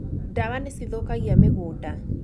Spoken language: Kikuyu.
Dawa nĩ cithũkagia mĩgũnda